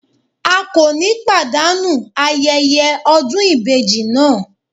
A kò ní pàdánù ayẹyẹ ọdún ìbejì náà.